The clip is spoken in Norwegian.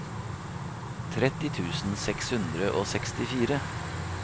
tretti tusen seks hundre og sekstifire